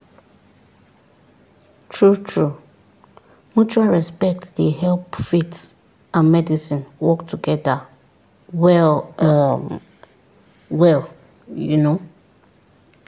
true-true mutual respect dey help faith and medicine work together well um well you know